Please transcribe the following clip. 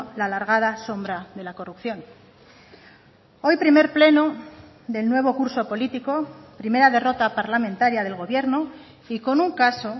la largada sombra de la corrupción hoy primer pleno del nuevo curso político primera derrota parlamentaria del gobierno y con un caso